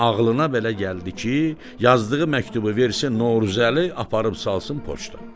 Xanın ağlına belə gəldi ki, yazdığı məktubu versin Novruzəli aparıb salsın poçta.